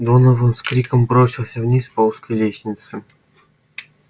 донован с криком бросился вниз по узкой лестнице